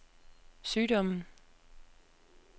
sygdommen